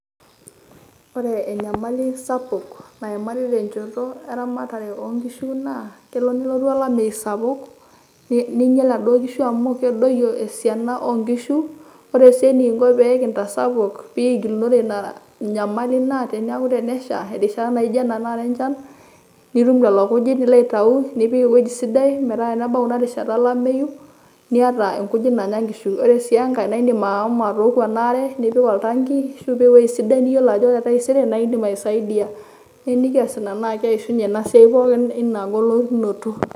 Ore enyamali sapuk, naimari tenchoto eramatare onkishu naa, kelo nelotu olameyu sapuk, ninyel naduo kishu amu kedoyio esiana onaduo kishu. Ore si enikinko pe nkitasapuk pekigilunore ina inanyamali naa teneeku tenesha irishat naijo ena tanakata enchan, nitum lelo kujit nilo aitau, nipik ewueji sidai metaa tenebau inarishata olameyu, niata inkujit naanya nkishu. Ore si enkae, naidim ashomo atooku enaare, nipik oltanki nipik ewueji sidai niyiolou ajo ore taisere naidim aisaidia. Na enikias ina, enaa keishunye enaa siai pooki ina golikinoto.